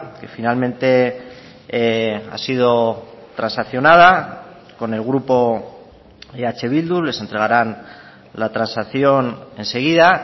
que finalmente ha sido transaccionada con el grupo eh bildu les entregarán la transacción enseguida